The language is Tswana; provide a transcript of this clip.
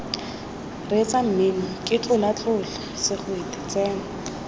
reetsa mmino ketlolaketlola segwete tsena